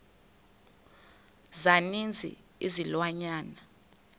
za ninzi izilwanyana